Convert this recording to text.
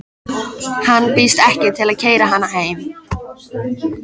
Hann býðst ekki til að keyra hana heim.